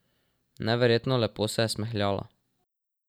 Neverjetno lepo se je smehljala.